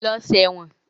Lọ ṣe ẹ̀wọ̀n!